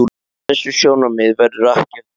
Á þessi sjónarmið verður ekki fallist.